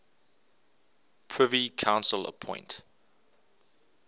privy council appoint